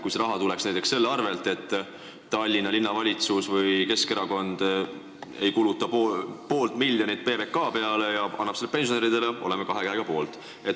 Kui see raha tuleks näiteks tänu sellele, et Tallinna Linnavalitsus või Keskerakond ei kulutaks poolt miljonit PBK peale ja annaks selle pensionäridele, siis oleme kahe käega poolt.